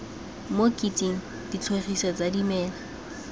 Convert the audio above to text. mo kotsing ditlhogesi tsa dimela